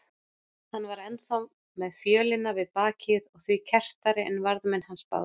Hann var enn þá með fjölina við bakið og því kerrtari en varðmenn hans báðir.